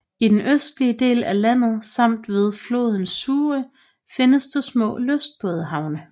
I den østlige del af landet samt ved floden Sûre findes der små lystbådehavne